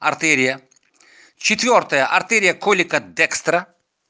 артерия четвёртая артерия колика декстра